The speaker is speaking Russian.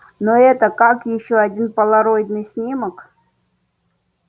но это как ещё один полароидный снимок